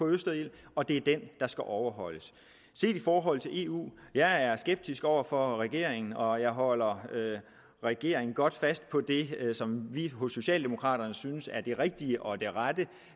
østerild og det er den der skal overholdes i forhold til eu er jeg skeptisk over for regeringen og jeg holder regeringen godt fast på det som vi hos socialdemokraterne synes er det rigtige og det rette